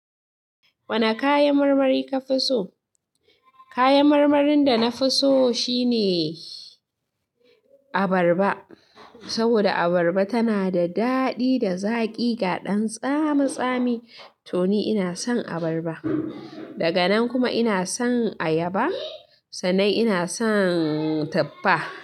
Wane kayan marmari ka fi so? Kayan marmarin da na fi so shine abarba. Saboda abarba tana da daɗi da zaƙi ga ɗan tsami tsami. To ni ina son abarba. Daga nan kuma ina son ayaba. Sannan ina son taffa.